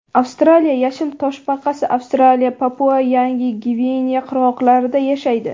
Avstraliya yashil toshbaqasi Avstraliya, PapuaYangi Gvineya qirg‘oqlarida yashaydi.